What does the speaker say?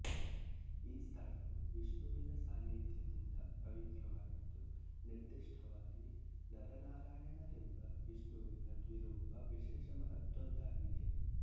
ಈ ಸ್ಥಳವು ವಿಷ್ಣುವಿನ ಸಾನಿಧ್ಯದಿಂದ ಪವಿತ್ರವಾಗಿದ್ದು ನಿರ್ದಿಷ್ಟವಾಗಿ ನರನಾರಾಯಣರೆಂಬ ವಿಷ್ಣುವಿನ ದ್ವಿರೂಪ ವಿಶೇಷ ಮಹತ್ವದ್ದಾಗಿದೆ